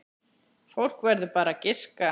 Fólk verður bara að giska.